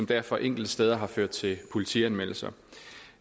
derfor enkelte steder ført til politianmeldelser